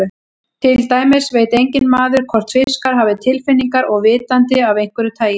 Til dæmis veit enginn maður hvort fiskar hafa tilfinningar og vitund af einhverju tagi.